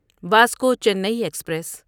Vasco Chennai express